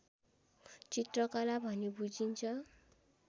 चित्रकला भन्ने बुझिन्छ